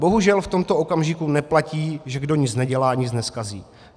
Bohužel v tomto okamžiku neplatí, že kdo nic nedělá, nic nezkazí.